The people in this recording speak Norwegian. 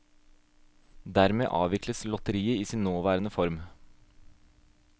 Dermed avvikles lotteriet i sin nåværende form.